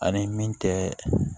Ani min tɛ